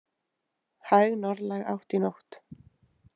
Hæg norðlæg átt í nótt